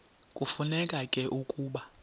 kufuneka ke ukuba